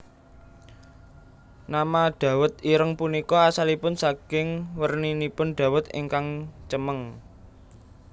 Nama dawet ireng punika asalipun saking werninipun dawet ingkang cemeng